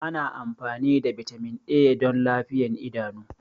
Ana amfani da Vitamin A don lafiyar idanu.